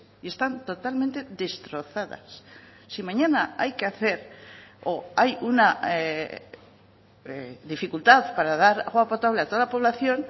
y están totalmente destrozadas si mañana hay que hacer o hay una dificultad para dar agua potable a toda la población